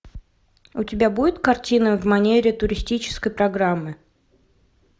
у тебя будет картина в манере туристической программы